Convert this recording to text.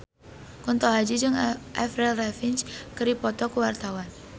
Kunto Aji jeung Avril Lavigne keur dipoto ku wartawan